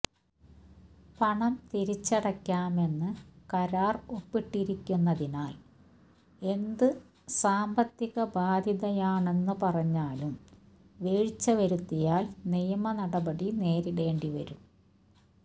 പണം തിരിച്ചടയ്ക്കാമെന്ന് കരാർ ഒപ്പിട്ടിരിക്കുന്നതിനാൽ എന്ത് സാമ്പത്തിക ബാധ്യതയാണെന്നു പറഞ്ഞാലും വീഴ്ച വരുത്തിയാൽ നിയമനടപടി നേരിടേണ്ടിവരും